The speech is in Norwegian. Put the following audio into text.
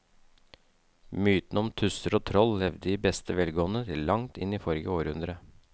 Mytene om tusser og troll levde i beste velgående til langt inn i forrige århundre.